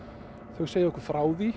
þau segja okkur frá því